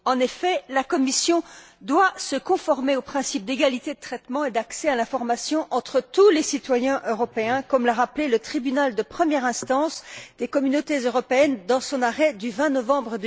En effet, la Commission doit se conformer au principe d'égalité de traitement et d'accès à l'information entre tous les citoyens européens, comme l'a rappelé le Tribunal de première instance des Communautés européennes dans son arrêt du 20 novembre